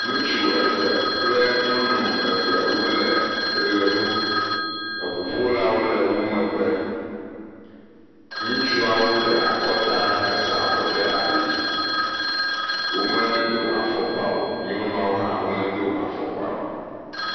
Ŋutsu eve kple nyɔnu eve wole ʋe ɖum, eŋuƒolawo le wo megbe. Ŋutsuawo ɖe akɔta hesa avɔ ɖe ali, womedo afɔkpao, nyɔnuawo hã womedo afɔkpao.